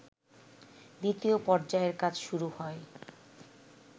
দ্বিতীয় পর্যায়ের কাজ শুরু হয়